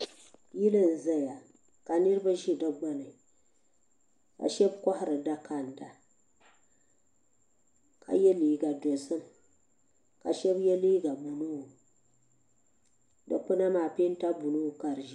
Yili n zaya ka niriba ʒe di gbuni ka shɛba kɔhiri dakanda ka yɛ liiga dozim ka shɛba yɛ liiga buluu dikpuna maa pɛnta buluu ka di ʒɛ